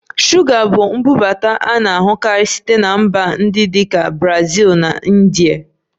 Shuga bụ mbubata a na-ahụkarị site na mba ndị dị ka Brazil na India